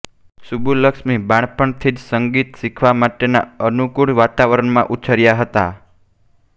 સુબ્બુલક્ષ્મી બાળપણથી જ સંગીત શીખવા માટેના અનુકૂળ વાતાવરણમાં ઉછર્યા હતા